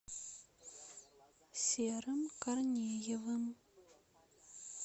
серым корнеевым